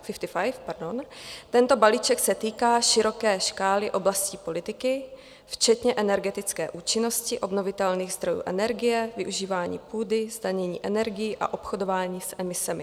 Tento balíček se týká široké škály oblastí politiky, včetně energetické účinnosti obnovitelných zdrojů energie, využívání půdy, zdanění energií a obchodování s emisemi.